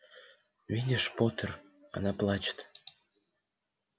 видишь поттер она плачет